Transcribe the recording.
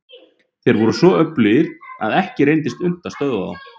Þeir voru svo öflugir að ekki reyndist unnt að stöðva þá.